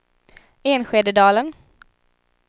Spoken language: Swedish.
Enskededalen